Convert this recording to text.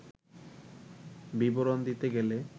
বিবরণ দিতে গেলে